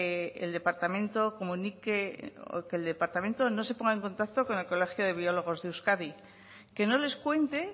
el departamento comunique o que el departamento no se ponga en contacto con el colegio de biólogos de euskadi que no les cuente